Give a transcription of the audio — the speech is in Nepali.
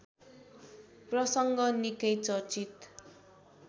प्रसङ्ग निकै चर्चित